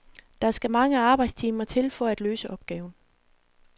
Der skal mange arbejdstimer til for at løse opgaven.